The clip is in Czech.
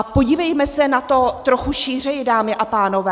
A podívejme se na to trochu šířeji, dámy a pánové.